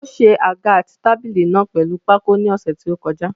Ó ṣe àga àti tábìlì náà pèlu pákó ni ọ̀sẹ̀ tí ó kọjá.